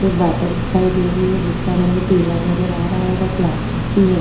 एक बोतल दिखाई दे रही है जिसका रंग पीला नजर आ रहा है वो प्लस्टिक की है।